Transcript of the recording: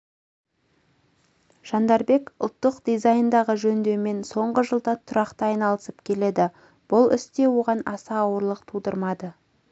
жандарбек ұлттық дизайндағы жөндеумен соңғы жылда тұрақты айналысып келеді бұл іс те оған аса ауырлық тудырмады